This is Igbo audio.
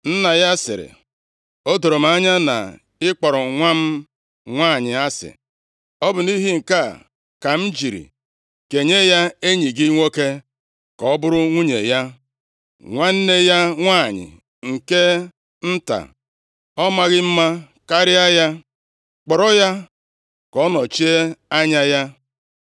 Nna ya sịrị, “O doro m anya na ị kpọrọ nwa m nwanyị asị, ọ bụ nʼihi nke a ka m jiri kenye ya enyi gị nwoke ka ọ bụrụ nwunye ya. Nwanne ya nwanyị nke nta, ọ maghị mma karịa ya? Kpọrọ ya ka ọ nọchie anya ya.”